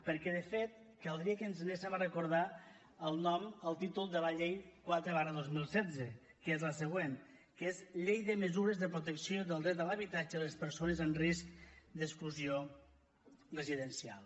perquè de fet caldria que ens n’anéssim a recordar el nom el títol de la llei quatre dos mil setze que és el següent que és llei de mesures de protecció del dret a l’habitatge de les persones amb risc d’exclusió residencial